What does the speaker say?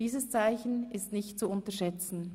Dieses Zeichen ist nicht zu unterschätzen;